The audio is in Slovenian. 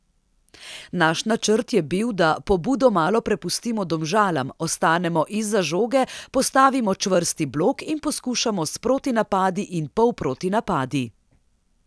Naš načrt je bil, da pobudo malo prepustimo Domžalam, ostanemo izza žoge, postavimo čvrsti blok in poskušamo s protinapadi in polprotinapadi.